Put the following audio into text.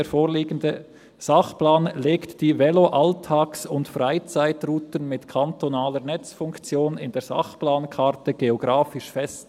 «Der vorliegende Sachplan legt die Veloalltags- und -freizeitrouten mit kantonaler Netzfunktion in der Sachplankarte geographisch fest.»